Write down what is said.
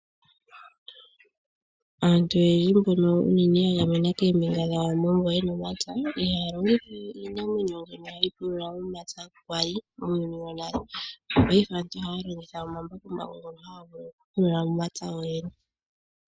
Aantu oyendji mbono unene ya gamena koombinga dha Wambo mbo yena omapya, ihaya longitha we iinamwenyo oyo tayi pulula omapya kwali muuyuni wonale. Paife aantu ohaya longitha omambakumbaku ngono haga vulu okupulula omapya gowene.